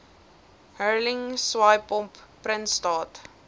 hurling swaaipomp prinsstraat